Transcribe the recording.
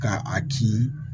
Ka a kin